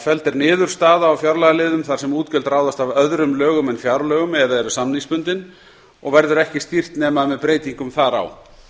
er niður staða á fjárlagaliðum þar sem útgjöld ráðast af öðrum lögum en fjárlögum eða eru samningsbundin og verður ekki stýrt nema með breytingum þar á